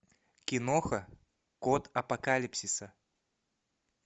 киноха код апокалипсиса